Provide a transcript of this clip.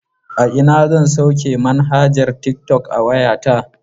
A ina zan sauke manhajar tiktok a wayata?